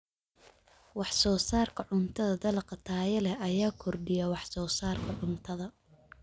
Wax-soo-saarka cuntada Dalagga tayada leh ayaa kordhiya wax-soo-saarka cuntada.